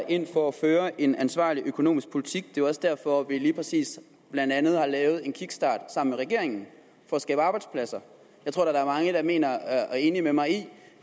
ind for at føre en ansvarlig økonomisk politik det er også derfor vi lige præcis blandt andet har lavet en kickstart sammen med regeringen for at skabe arbejdspladser jeg tror der er mange der er enig med mig i